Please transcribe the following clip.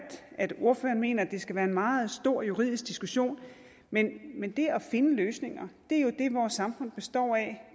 at ordføreren mener at det skal være en meget stor juridisk diskussion men men det at finde løsninger er jo det vores samfund består af